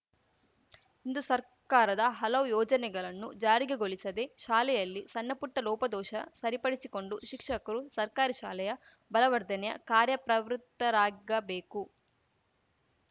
ಇಂದು ಸರ್ಕಾರದ ಹಲವು ಯೋಜನೆಗಲನ್ನು ಜಾರಿಗೆ ಗೊಲಿಸಿದೆ ಶಾಲೆಯಲ್ಲಿನ ಸಣ್ಣಪುಟ್ಟಲೋಪದೋಷ ಸರಿಪಡಿಸಿಕೊಂಡು ಶಿಕ್ಷಕರು ಸರ್ಕಾರಿ ಶಾಲೆಯ ಬಲವರ್ಧನೆಯ ಕಾರ್ಯಪ್ರವೃತ್ತರಾಗಬೇಕು